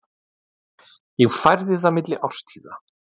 Ég færði það milli árstíða.